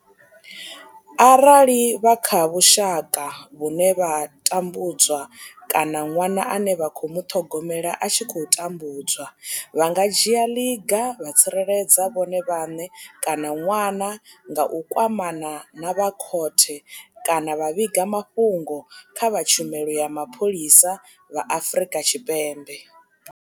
Arali vha kha vhushaka vhune vha tambudzwa kana ṅwana ane vha khou muṱhogomela a tshi khou tambudzwa, vha nga dzhia ḽiga vha tsireledza vhone vhaṋe kana ṅwana nga u kwamana na vha khothe kana vha vhiga mafhungo kha vha tshumelo ya mapholisa vha Afrika Tshipembe.